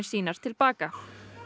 sínar til baka